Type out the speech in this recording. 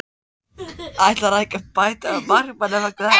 Ætlarðu ekki að bæta við markmanni vegna þess?